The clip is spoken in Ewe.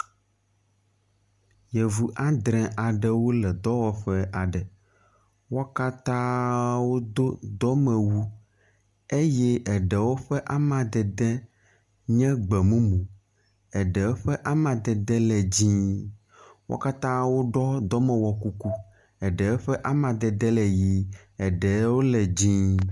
Yevu andre aɖewo le dɔwɔƒe aɖe. Wo katã do dɔmewu eye eɖewo ƒe amadede nye gbe mumu. Eɖewo ƒe amadede le dzɛ̃, wo katã woɖɔ dɔmewɔ kuku. Eɖewo ƒe amadede le ʋi eɖewo le dzɛ̃.